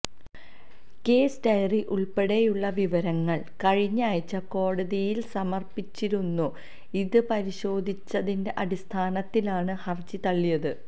case diary ഉള്പ്പെടെയുള്ള വിവരങ്ങള് കഴിഞ്ഞയാഴ്ച കോടതിയില് സമര്പ്പിച്ചിരുന്നു ഇത് പരിശോധിച്ചതിന്റെ അടിസ്ഥാനത്തിലാണ് ഹര്ജി തള്ളിയത്